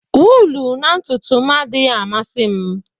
Wụlụ na ntutu m adịghị amasị m.